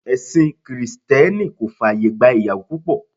Ẹ̀sìn Krìsìtẹ́nì kò fàyè gba ìyàwó púpọ̀.